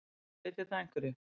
Breytir það einhverju?